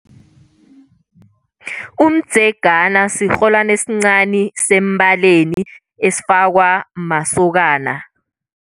Umdzegana sirholwani esincani sembaleni esifakwa masokana.